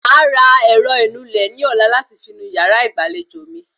Màá ra ẹ̀rọ ìnulẹ̀ ní ọ̀la láti fi nu yàrá ìgbàlejò mi